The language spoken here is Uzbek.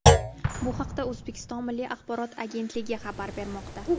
Bu haqda O‘zbekiston Milliy axborot agetnligi xabar bermoqda .